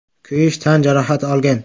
kuyish tan jarohati olgan.